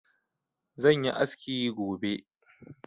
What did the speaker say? zan yi aski gobe